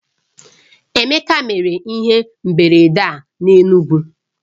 Emeka mere ihe mberede a n'Enugwu